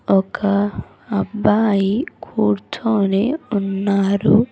ఒక అబ్బాయి కూర్చొని ఉన్నారు.